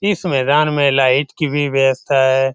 इस मैदान में लाइट की भी व्यवस्था है।